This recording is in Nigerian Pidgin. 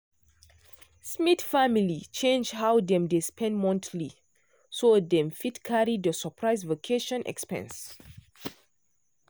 smith family change how dem dey spend monthly so dem fit carry the surprise vacation expense.